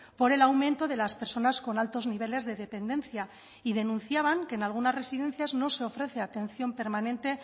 por el aumento de las personas con altos niveles de dependencia y denunciaban que en algunas residencias no se ofrece atención permanente